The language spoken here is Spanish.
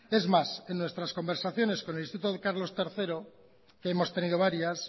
es más en nuestras conversaciones con el instituto carlos tercero que hemos tenido varias